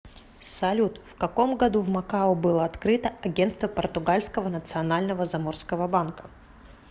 салют в каком году в макао было открыто агенство португальского национального заморского банка